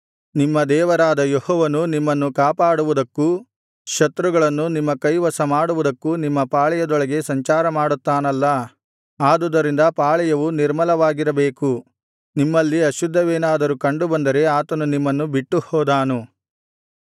ನಿಮ್ಮ ದೇವರಾದ ಯೆಹೋವನು ನಿಮ್ಮನ್ನು ಕಾಪಾಡುವುದಕ್ಕೂ ಶತ್ರುಗಳನ್ನು ನಿಮ್ಮ ಕೈವಶಮಾಡುವುದಕ್ಕೂ ನಿಮ್ಮ ಪಾಳೆಯದೊಳಗೆ ಸಂಚಾರಮಾಡುತ್ತಾನಲ್ಲಾ ಆದುದರಿಂದ ಪಾಳೆಯವು ನಿಮರ್ಲವಾಗಿರಬೇಕು ನಿಮ್ಮಲ್ಲಿ ಅಶುದ್ಧವೇನಾದರೂ ಕಂಡುಬಂದರೆ ಆತನು ನಿಮ್ಮನ್ನು ಬಿಟ್ಟುಹೋದಾನು